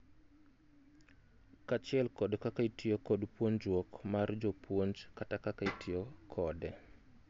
Kachiel kod kaka itiyo kod puonjuok mar jopuonj kat kaka itiyo kode